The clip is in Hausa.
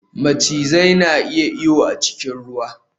Macizai na iya iyo a cikin ruwa